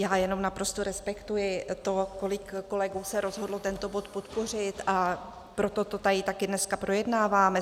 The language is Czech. Já jenom naprosto respektuji to, kolik kolegů se rozhodlo tento bod podpořit, a proto to tady také dneska projednáváme.